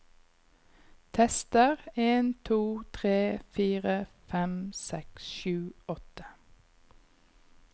Tester en to tre fire fem seks sju åtte